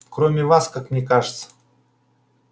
кроме вас как мне кажется